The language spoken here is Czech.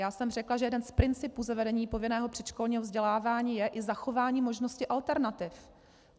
Já jsem řekla, že jeden z principů zavedení povinného předškolního vzdělávání je i zachování možnosti alternativ.